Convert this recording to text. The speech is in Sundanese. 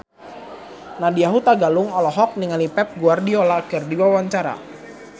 Nadya Hutagalung olohok ningali Pep Guardiola keur diwawancara